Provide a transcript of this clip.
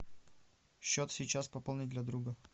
счет сейчас пополнить для друга